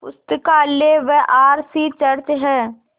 पुस्तकालय व R C church हैं